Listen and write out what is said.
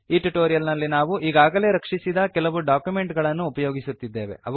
ಈ ಟ್ಯುಟೋರಿಯಲ್ ನಲ್ಲಿ ನಾವು ಈಗಾಗಲೇ ರಕ್ಷಿಸಿದ ಕೆಲವು ಡಾಕ್ಯುಮೆಂಟ್ ಗಳನ್ನು ಉಪಯೋಗಿಸುತ್ತಿದ್ದೇವೆ